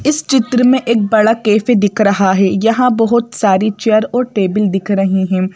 इस चित्र में एक बड़ा कैफे दिख रहा है यहां बहुत सारी चेयर और टेबल दिख रही हैं।